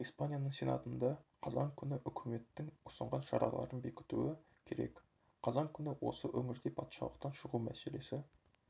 испанияның сенатында қазан күні үкіметтің ұсынған шараларын бекітуі керек қазан күні осы өңірде патшалықтан шығу мәселесі